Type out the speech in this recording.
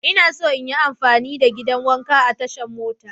Ina so in yi amfani da gidan wanka a tashan mota.